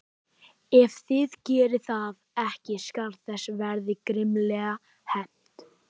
Ef þið gerið það ekki skal þess verða grimmilega hefnt.